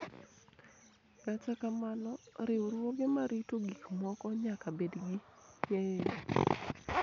Kata kamano, riwruoge ma rito gik moko nyaka bed gi ng�eyo